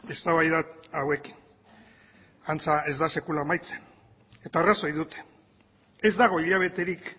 eztabaida hauekin antza ez da sekula amaitzen eta arrazoi dute ez dago hilabeterik